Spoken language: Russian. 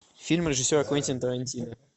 фильм режиссера квентина тарантино